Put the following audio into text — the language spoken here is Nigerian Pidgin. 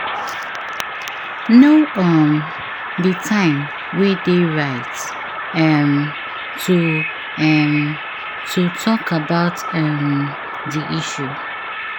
Know um di time wey de right um to um to talk about um di issue